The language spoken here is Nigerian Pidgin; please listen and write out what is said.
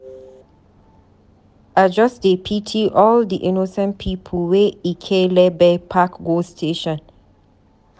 I just dey pity all di innocent pipu wey ekelebe pack go station.